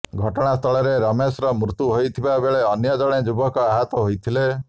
ଘଟଣା ସ୍ଥଳରେ ରମେଶର ମୃତ୍ୟୁ ହୋଇଥିବା ବେଳେ ଅନ୍ୟ ଜଣେ ଯୁବକ ଆହତ ହୋଇଥିଲେ